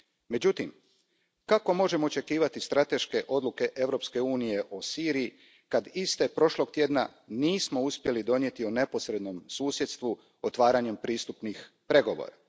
Međutim, kako možemo očekivati strateške odluke Europske unije o Siriji kad iste prošlog tjedna nismo uspjeli donijeti o neposrednom susjedstvu otvaranjem pristupnih pregovora?